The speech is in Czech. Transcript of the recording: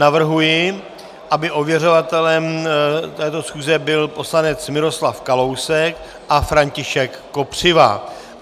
Navrhuji, aby ověřovatelem této schůze byl poslanec Miroslav Kalousek a František Kopřiva.